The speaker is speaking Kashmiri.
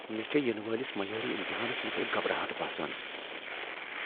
مے٘ چھے٘ ینہٕ وٲلس میٲری امتحانس متعلق گھبراہٹ باسان ۔